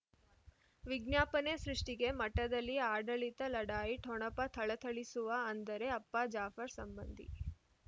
ವಿಜ್ಞಾಪನೆ ಸೃಷ್ಟಿಗೆ ಮಠದಲ್ಲಿ ಆಡಳಿತ ಲಢಾಯಿ ಠೊಣಪ ಥಳಥಳಿಸುವ ಅಂದರೆ ಅಪ್ಪ ಜಾಫರ್ ಸಂಬಂಧಿ